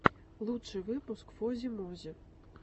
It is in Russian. лучший выпуск фози мози